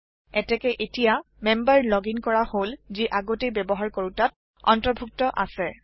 এটেকে এটিয়া member logging কৰা হল যি আগতেই ব্যাবহাৰ কৰোতাত অন্তৰ্ভুক্ত আছে